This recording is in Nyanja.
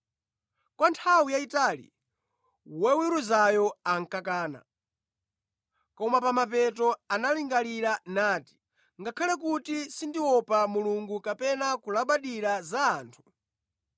“Kwa nthawi yayitali woweruzayo ankakana. Koma pa mapeto analingalira nati, ‘Ngakhale kuti sindiopa Mulungu kapena kulabadira za anthu,